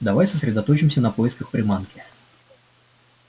давай сосредоточимся на поисках приманки